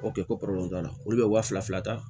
O kɛ ko t'a la olu bɛ waa fila ta